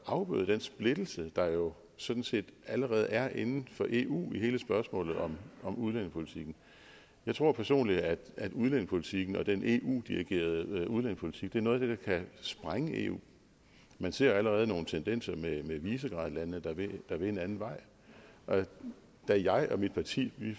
afbryde den splittelse der jo sådan set allerede er inden for eu i hele spørgsmålet om om udlændingepolitikken jeg tror personligt at udlændingepolitikken og den eu dirigerede udlændingepolitik er noget af det der kan sprænge eu man ser jo allerede nogle tendenser med visegradlandene der vil en anden vej da jeg og mit parti